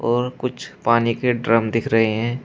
और कुछ पानी के ड्रम दिख रहे हैं।